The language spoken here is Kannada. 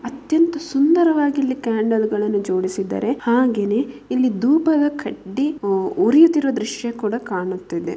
ಅತ್ಯಂತ ಸುಂದರವಾಗಿಲ್ಲಿ ಕ್ಯಾಂಡಲ್ ಗಳನ್ನು ಜೋಡಿಸಿದರೆ ಹಾಗೇನೆ ಇಲ್ಲಿ ದೂಪದ ಕಡ್ಡಿ ಉರಿಯುತ್ತಿರುವ ದೃಶ್ಯ ಕೂಡ ಕಾಣುತ್ತಿದೆ.